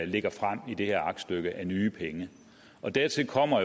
lægger frem i det her aktstykke af nye penge dertil kommer